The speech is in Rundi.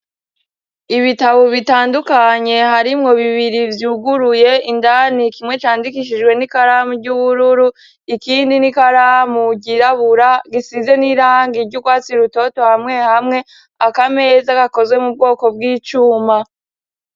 Ibitabo bitandukanye harimwo bibiri vyuguruye, indani kimwe candikishijwe n'ikaramu ry'ubururu, ikindi n'ikaramu ryirabura gisize n'irangi ry'ukwatsi rutoto hamwe hamwe. Akameza gakozwe mu bwoko bw'icuma.